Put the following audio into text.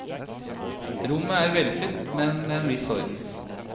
Rommet er velfylt, men med en viss orden.